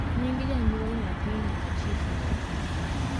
nyinge janyuoal nyathi nyaka chif nge